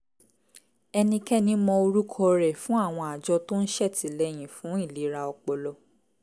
ẹnikẹ́ni mọ orúkọ rẹ̀ fún àwọn àjọ tó ń ṣètìlẹyìn fún ìlera ọpọlọ